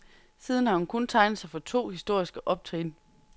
Siden har hun kun tegnet sig for to historiske optrin.